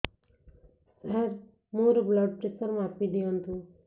ସାର ମୋର blood pressure ମାପି ଦିଅନ୍ତୁ